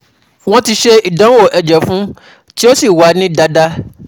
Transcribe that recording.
Wọ́n ti ṣe ìdánwò ẹ̀jẹ̀ fún un, tí ó sì wá ní dáadáa